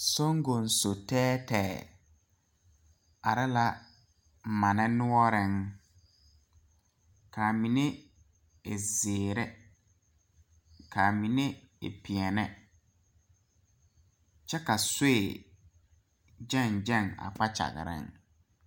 Soŋgoŋso tɛɛtɛɛ are la mane noɔreŋ kaa mine e zeere kaa mine e peɛle kyɛ ka soe gyɛŋ gyɛŋ a kpakyagreŋ.